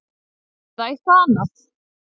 Eða eitthvað annað?